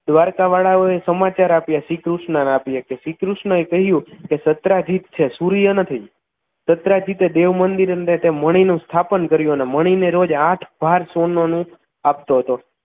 દ્વારકાવાળો એ સમાચાર આપ્યા શ્રીકૃષ્ણને આપ્યા શ્રી કૃષ્ણએ કહ્યું તે દત્રાજીત છે સૂર્ય નથી દત્રાજીત દેવ મંદિરે તે મણીનુ સ્થાપન કર્યું અને મણીને રોજ આઠ ભાર સોનાનુ આપતો હતો